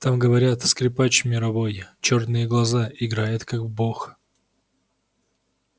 там говорят скрипач мировой чёрные глаза играет как бог